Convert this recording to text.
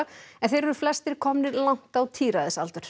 en þeir eru flestir komnir langt á